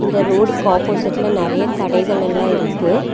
இந்த ரோடுக்கு ஆப்போசிட்ல நெறைய கடைகலெல்லா இருக்கு.